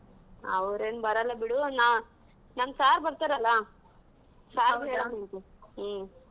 ಅವ್ರೆನ್ ಬರಲ್ಲಾ ಬಿಡು ನಾ ನಮ್ sir ಬರ್ತಾರಲ್ಲಾ sir ಗು ಹೇಳನ ಅಂತೆ ಹ್ಮ್.